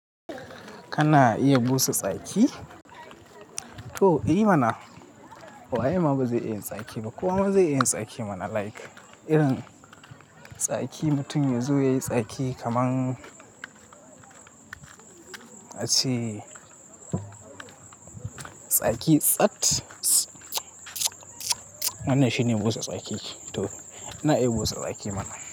Kana iya busa tsaki? To, eh mana. Waye ma ba zai iya tsaki? Ba kowa ma zai yi tsaki mana like irin tsaki mutum yazo yayi tsaki kaman ace tsaki tsat. Wannan shine busa tsaki? To, ina iya busa tsaki mana.